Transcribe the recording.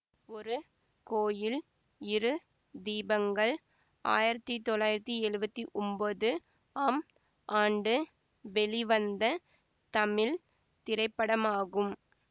ஒரு கோயில் இரு தீபங்கள் ஆயிரத்தி தொள்ளாயிரத்தி எழுவத்தி ஒன்போது ஆம் ஆண்டு வெளிவந்த தமிழ் திரைப்படமாகும்